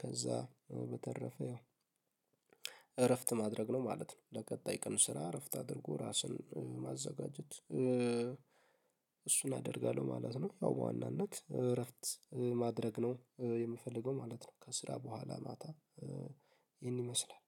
ከዛ በተረፈ ያው እረፍት ማድረግ ነው ማለት ነው። ለቀጣይ ቀን ስራ እረፍት አድርጎ ራስን ማዘጋጀት እሱን አደርጋለሁ ማለት ነው። ያው በዋናነት እረፍት ማድረግ ነው የምፈልገው ማለት ነው። ከስራ በኋላ ማታ ይህን ይመስላል